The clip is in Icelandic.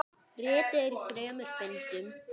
Ritið er í þremur bindum.